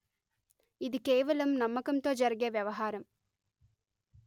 ఇది కేవలం నమ్మకంతో జరిగే వ్వవహారం